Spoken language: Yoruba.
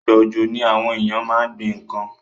Ìgbà òjò ni àwon éyàn ma n gbín nkan